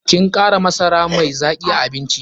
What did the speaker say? Kin kara masara mai zaki a abincin?